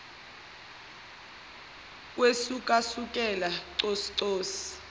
kwesukasukela cosu cosu